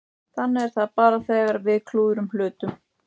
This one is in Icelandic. Þannig er það bara þegar við klúðrum hlutunum.